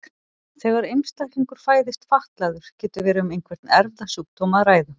Þegar einstaklingur fæðist fatlaður getur verið um einhvern erfðasjúkdóm að ræða.